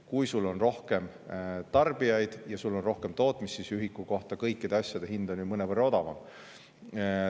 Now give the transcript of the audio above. Kui sul on rohkem tarbijaid ja tootmist ühiku kohta, siis on kõikide asjade hind ju mõnevõrra odavam.